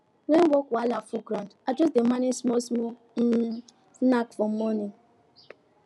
when work wahala full ground i just dey manage small small um snack for morning